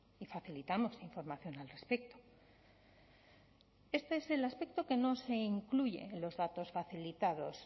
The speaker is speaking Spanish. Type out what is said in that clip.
y facilitamos información al respecto este es el aspecto que no se incluye en los datos facilitados